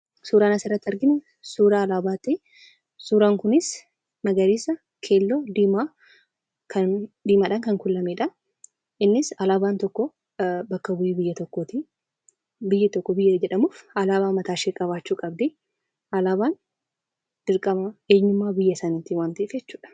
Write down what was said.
Suuraan asirratti arginu, suuraa alaabaati. Suuraan kunis magariisa, keelloo, diimaadhaan kan kuulamedha. Innis alaabaan tokkoo bakka bu'ee biyya tokkooti. Biyyi tokko biyya jedhamuuf alaabaa mataa ishee qabaachuu qabdu. Alaabaan dirqama eenyummaa biyya saniiti waan ta'eef jechuudha.